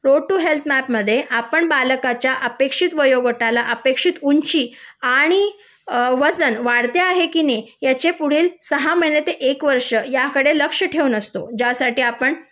road to health map मध्ये आपण बालकाच्या अपेक्षित वयोगटाला अपेक्षित उंची आणि वजन वाढते आहे की नाही याचे पुढील सहा महिने ते एक वर्ष याकडे लक्ष ठेवून असतो ज्यासाठी आपण